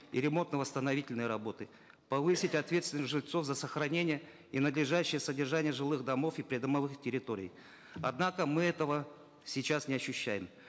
и ремонтно восстановительной работы повысить ответственность жильцов за сохранение и надлежащее содержание жилых домов и придомовых территорий однако мы этого сейчас не ощущаем